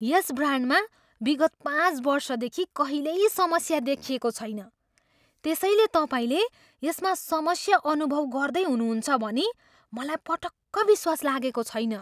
यस ब्रान्डमा विगत पाँच वर्षदेखि कहिल्यै समस्या देखिएको छैन, त्यसैले तपाईँले यसमा समस्या अनुभव गर्दै हुनुहुन्छ भनी मलाई पटक्क विश्वास लागेको छैन।